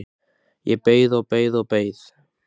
Ég beið og beið og beið!